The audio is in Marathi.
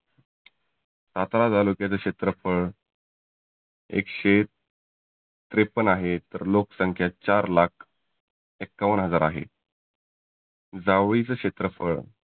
सातारा तालुक्याच क्षेत्रफळ एकशे त्रेपन्न आहे. तर लोक संख्या चार लाख एक्कावन्न हजार आहे. जावळीच क्षेत्रफळ